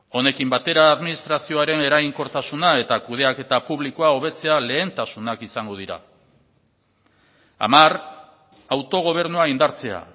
honekin batera administrazioaren eraginkortasuna eta kudeaketa publikoa hobetzea lehentasunak izango dira hamar autogobernua indartzea